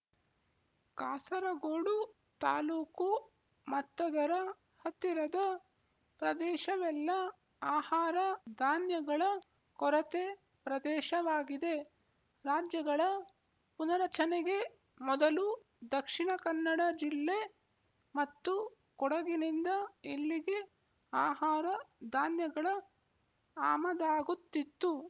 ಕಾಸರಗೋಡು ತಾಲ್ಲೂಕು ಮತ್ತದರ ಹತ್ತಿರದ ಪ್ರದೇಶವೆಲ್ಲ ಆಹಾರ ಧಾನ್ಯಗಳ ಕೊರತೆ ಪ್ರದೇಶವಾಗಿದೆ ರಾಜ್ಯಗಳ ಪುನರಚನೆಗೆ ಮೊದಲು ದಕ್ಷಿಣ ಕನ್ನಡ ಜಿಲ್ಲೆ ಮತ್ತು ಕೊಡಗಿನಿಂದ ಇಲ್ಲಿಗೆ ಆಹಾರ ಧಾನ್ಯಗಳ ಆಮದಾಗುತ್ತಿತ್ತು